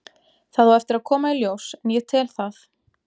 Það á eftir að koma í ljós en ég tel það.